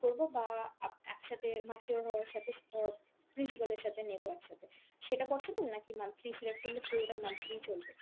করব বা আপ~ একসাথে mature হওয়ার সাথে অ principle এর সাথে নেব একসাথে, সেটা possible নাকি monthly select করলে পুরোটাই monthly ই চলবে?